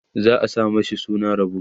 za'a sa mashi suna Rabo